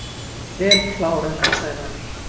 Vel klárað hjá Sævari.